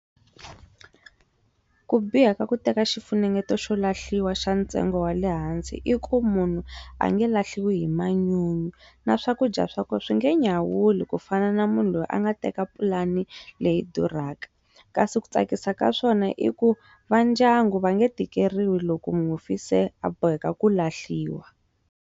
Ku biha ka ku teka xifunengeto xa lahliwa xa ntsengo wa le hansi i ku munhu a nge lahliwi hi manyunyu na swakudya swa kona swi nge nyawuli ku fana na munhu loyi a nga teka pulani leyi duraka kasi ku tsakisa ka swona i ku va ndyangu va nge tikeriwi loko mufi se a boheka ku lahliwa.